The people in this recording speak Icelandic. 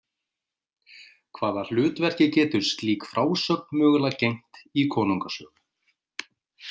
Hvaða hlutverki getur slík frásögn mögulega gegnt í konungasögu?